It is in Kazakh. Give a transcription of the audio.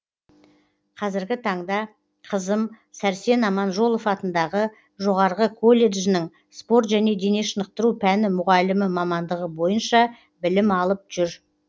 қазіргі таңда қызым сәрсен аманжолов атындағы жоғарғы колледжінің спорт және дене шынықтыру пәні мұғалімі мамандығы бойынша білім алып жүр